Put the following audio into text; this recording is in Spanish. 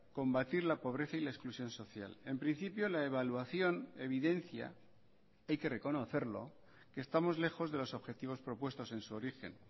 combatir la pobreza y la exclusión social en principio la evaluación evidencia hay que reconocerlo que estamos lejos de los objetivos propuestos en su origen